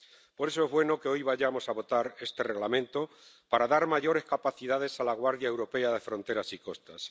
Por eso, es bueno que hoy vayamos a votar este Reglamento, para dar mayores capacidades a la Guardia Europea de Fronteras y Costas